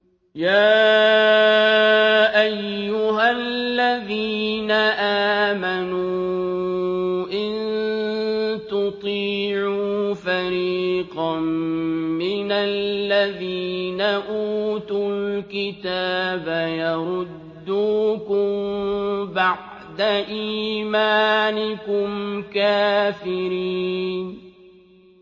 يَا أَيُّهَا الَّذِينَ آمَنُوا إِن تُطِيعُوا فَرِيقًا مِّنَ الَّذِينَ أُوتُوا الْكِتَابَ يَرُدُّوكُم بَعْدَ إِيمَانِكُمْ كَافِرِينَ